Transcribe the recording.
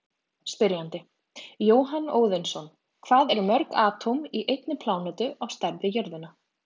Spyrjandi: Jóhann Óðinsson Hvað eru mörg atóm í einni plánetu á stærð við jörðina?